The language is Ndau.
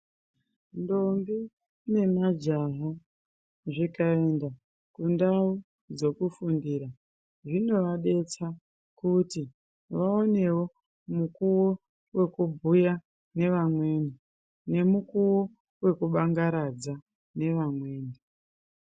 Ndombi ne majaha zvikaenda kundau dzeku fundira zvinova detsa kuti vaonewo mukuwo weku bhuya ne vamweni ne mukuwo weku bangaradza ne vamweni.